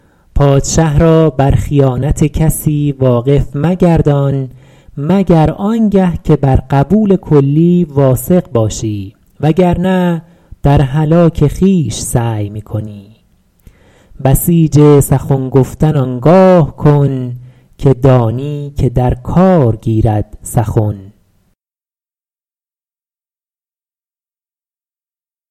پادشه را بر خیانت کسی واقف مگردان مگر آنگه که بر قبول کلی واثق باشی و گر نه در هلاک خویش سعی می کنی بسیج سخن گفتن آنگاه کن که دانی که در کار گیرد سخن